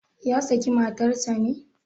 Ya sake matar sa ne?